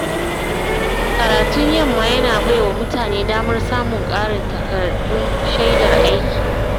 Karatun yamma yana bai wa mutane damar samun ƙarin takardun shaidar aiki.